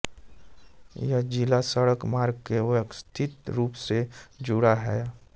यह ज़िला सड़क मार्ग से व्यवस्थित रूप से जुड़ा हुआ है